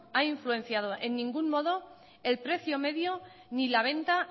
ha influenciado en ningún modo el precio medio ni la venta